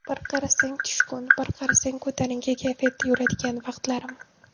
Bir qarasang tushkun, bir qarasang ko‘tarinki kayfiyatda yuradigan vaqtlarim.